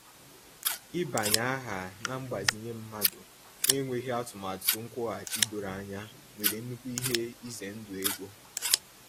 Ịbanye aha na mgbazinye mmadụ n'enweghị atụmatụ nkwughachi doro anya nwere nnukwu ihe ize ndụ ego.